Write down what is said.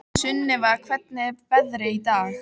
Sunnefa, hvernig er veðrið í dag?